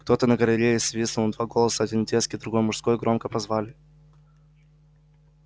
кто-то на галерее свистнул и два голоса один детский другой мужской громко позвали